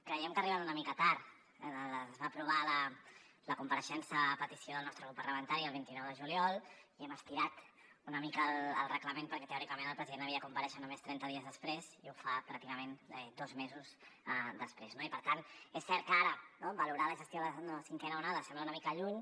creiem que arriben una mica tard es va aprovar la compareixença a petició del nostre grup parlamentari el vint nou de juliol i hem estirat una mica el reglament perquè teòricament el president havia de comparèixer només trenta dies després i ho fa pràcticament dos mesos després no i per tant és cert que ara valorar la gestió de la cinquena onada sembla una mica lluny